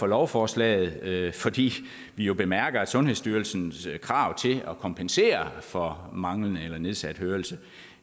lovforslaget fordi vi jo bemærker at sundhedsstyrelsens krav til at kompensere for manglende eller nedsat hørelse